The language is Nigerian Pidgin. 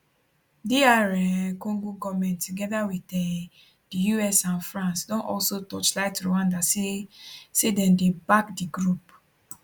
dr um congo goment togeda wit um di us and france don also torchlight rwanda say say dem dey back di group